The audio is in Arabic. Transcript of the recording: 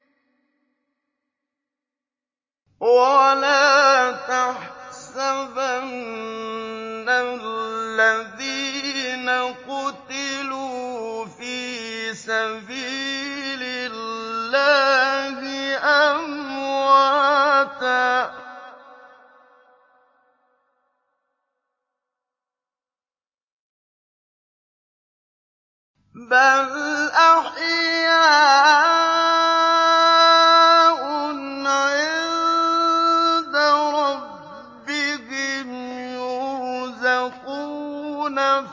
وَلَا تَحْسَبَنَّ الَّذِينَ قُتِلُوا فِي سَبِيلِ اللَّهِ أَمْوَاتًا ۚ بَلْ أَحْيَاءٌ عِندَ رَبِّهِمْ يُرْزَقُونَ